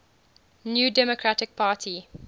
new democratic party